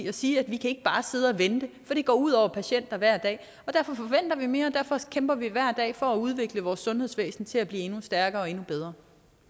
at sige at vi ikke bare kan sidde og vente for det går ud over patienter hver dag derfor forventer vi mere og derfor kæmper vi hver dag for at udvikle vores sundhedsvæsen til at blive endnu stærkere og endnu bedre